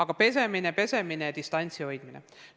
Põhireegel on käte pesemine ja distantsi hoidmine.